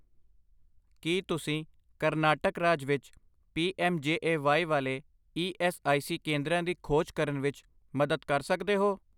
ਕੀ ਤੁਸੀਂ ਕਰਨਾਟਕ ਰਾਜ ਵਿੱਚ ਪੀ.ਐੱਮ.ਜੇ.ਏ.ਵਾਈ ਵਾਲੇ ਈ ਐੱਸ ਆਈ ਸੀ ਕੇਂਦਰਾਂ ਦੀ ਖੋਜ ਕਰਨ ਵਿੱਚ ਮਦਦ ਕਰ ਸਕਦੇ ਹੋ?